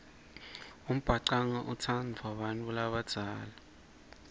umbhacanga utsandvwa bantfu labadzala